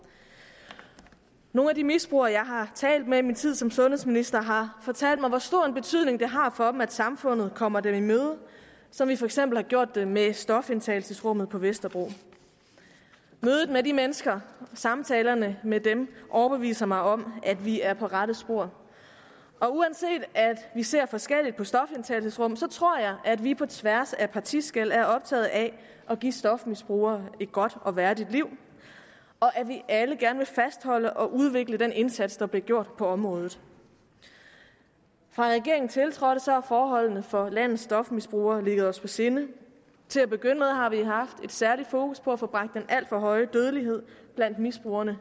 nogle af de misbrugere jeg har talt med i min tid som sundhedsminister har fortalt mig hvor stor en betydning det har for dem at samfundet kommer dem i møde som vi for eksempel har gjort det med stofindtagelsesrummet på vesterbro mødet med de mennesker og samtalerne med dem overbeviser mig om at vi er på rette spor og uanset at vi ser forskelligt på stofindtagelsesrum tror jeg at vi på tværs af partiskel er optaget af at give stofmisbrugere et godt og værdigt liv og at vi alle gerne vil fastholde og udvikle den indsats der bliver gjort på området fra regeringen tiltrådte har forholdene for landets stofmisbrugere ligget os på sinde til at begynde med har vi haft et særligt fokus på at få bragt den alt for høje dødelighed blandt misbrugerne